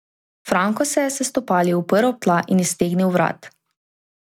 Franko se je s stopali uprl ob tla in iztegnil vrat.